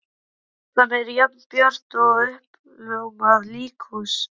Gatan er jafn björt og uppljómað líkhús.